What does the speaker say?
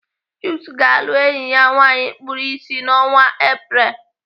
Chuka ga-alụ enyi ya nwaanyị kpuru ịsị n'ọnwa Apreel.